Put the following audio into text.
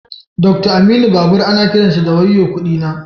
Doctor Aminu babur ana kiransa da "wayo kudi na"